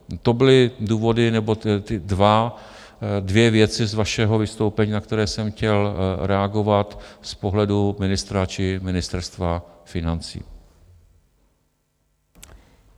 To byly ty dvě věci z vašeho vystoupení, na které jsem chtěl reagovat z pohledu ministra či Ministerstva financí.